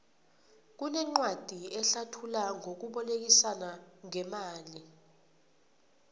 kunencwadi ehlathula ngokubolekisana ngemali